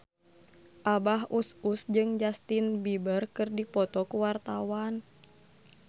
Abah Us Us jeung Justin Beiber keur dipoto ku wartawan